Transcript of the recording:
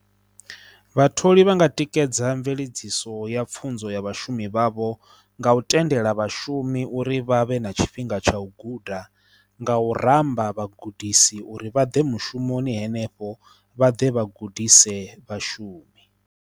Vhatholi vhanga tikedza mveledziso ya pfunzo ya vhashumi vhavho nga u tendela vhashumi uri vha vhe na tshifhinga tsha u guda, nga u ramba vhagudisi uri vha ḓe mushumoni henefho vha ḓe vhagudisi e vhashumi.